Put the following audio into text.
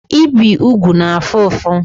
Ibe ụgwụ na-afụ ụfụ